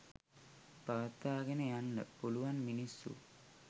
පවත්වාගෙන යන්ඩ පුළුවන් මිනිස්සු